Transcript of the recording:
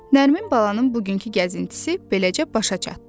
Nərmin balanın bugünkü gəzintisi beləcə başa çatdı.